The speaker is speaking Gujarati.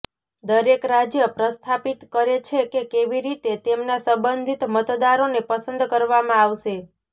દરેક રાજ્ય પ્રસ્થાપિત કરે છે કે કેવી રીતે તેમના સંબંધિત મતદારોને પસંદ કરવામાં આવશે